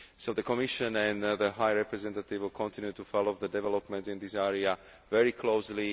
The Commission and the High Representative will continue to follow developments in this area very closely.